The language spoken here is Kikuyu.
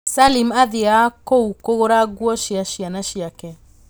Salim athiaga kũ kũgũra nguo cia ciana ciake